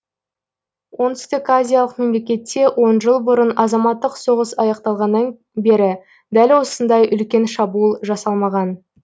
оңтүстіказиялық мемлекетте он жыл бұрын азаматтық соғыс аяқталғаннан бері дәл осындай үлкен шабуыл жасалмаған